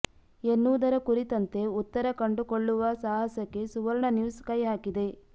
ಎನ್ನುವುದರ ಕುರಿತಂತೆ ಉತ್ತರ ಕಂಡುಕೊಳ್ಳುವ ಸಾಹಸಕ್ಕೆ ಸುವರ್ಣ ನ್ಯೂಸ್ ಕೈ ಹಾಕಿದೆ